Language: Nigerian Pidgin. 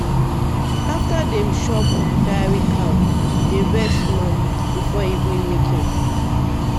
after dem chop dairy cow dey rest small before evening milking.